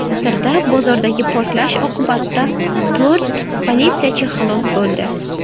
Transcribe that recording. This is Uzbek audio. Misrda bozordagi portlash oqibatida to‘rt politsiyachi halok bo‘ldi.